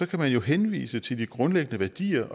kan man jo henvise til de grundlæggende værdier